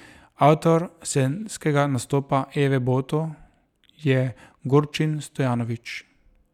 Avtor scenskega nastopa Eve Boto je Gorčin Stojanović.